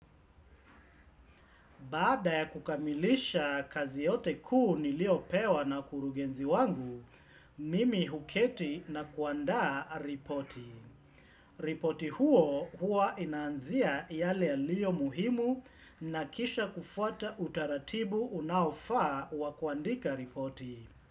Baada ya kukamilisha kazi yote kuu niliopewa na kurugenzi wangu, mimi huketi na kuandaa ripoti. Ripoti huo hua inaanzia yale yalio muhimu na kisha kufuata utaratibu unaofaa wa kuandika ripoti.